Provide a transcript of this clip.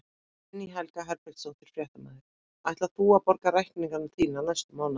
Guðný Helga Herbertsdóttir, fréttamaður: Ætlar þú að borga reikningana þína næstu mánaðamót?